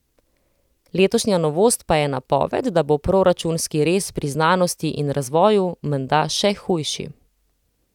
Letošnja novost pa je napoved, da bo proračunski rez pri znanosti in razvoju menda še hujši.